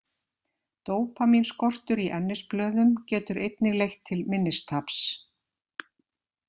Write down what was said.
Dópamínskortur í ennisblöðum getur einnig leitt til minnistaps.